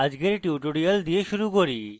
আজকের tutorial দিয়ে শুরু করি